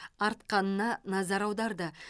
артқанына назар аударды